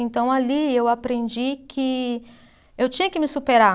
Então, ali eu aprendi que eu tinha que me superar.